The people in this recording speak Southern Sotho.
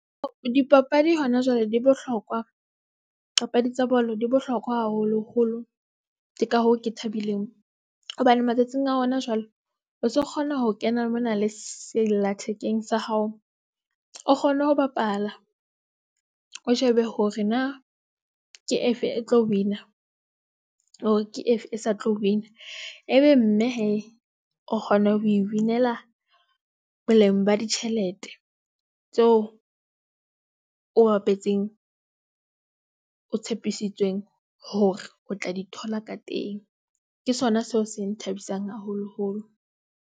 Dipapadi hona jwale di bohlokwa. Papadi tsa bolo di bohlokwa haholoholo. Ke ka hoo, ke thabileng hobane matsatsing a hona jwale o so kgona ho kena mona le sellathekeng sa hao. O kgone ho bapala o shebe hore na ke efe e tlo win-a hore ke efe e sa tlo win-a ebe mme hee o kgona ho e winela. Boleng ba ditjhelete tseo o bapetseng o tshepisitsweng hore o tla di thola ka teng. Ke sona seo se nthabisang haholoholo.